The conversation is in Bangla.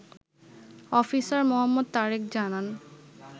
অফিসার মো. তারেক জানান